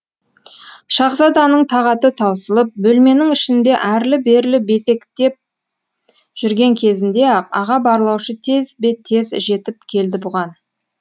шаһзаданың тағаты таусылып бөлменің ішінде әрлі берлі безектеп жүрген кезінде ақ аға барлаушы тезбе тез жетіп келді бұған